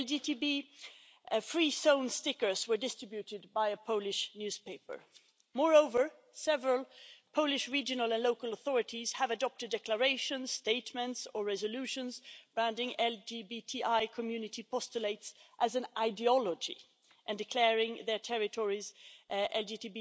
LGBT free zone stickers were distributed by a Polish newspaper. Moreover, several Polish regional and local authorities have adopted declarations, statements or resolutions, banning LGBTI community postulates as an ideology, and declaring their territories LGBT